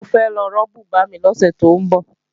Mo fẹ́ lọ rán bùbá mi lọ́sẹ̀ tó ń bọ̀